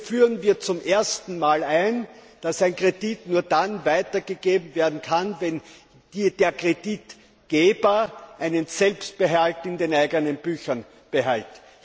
Hier führen wir zum ersten Mal ein, dass ein Kredit nur dann weitergegeben werden kann, wenn der Kreditgeber einen Selbstbehalt in den eigenen Büchern behält.